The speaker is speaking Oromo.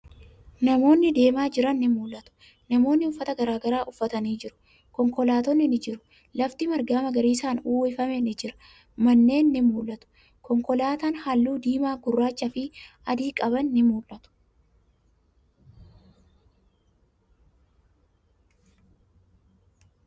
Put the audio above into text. Namootni deemaa jiran ni mul'atu. Namootni uffata garagaraa uffatanii jiru. Konkolaattonni ni jiru. Lafti marga magariisan uwwifame ni jira. Manneen ni mul'atu. Konkolaatan haalluu diimaa, gurraacha fi adi qaban ni mul'atu.